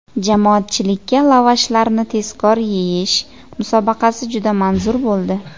Jamoatchilikka lavashlarni tezkor yeyish musobaqasi juda manzur bo‘ldi.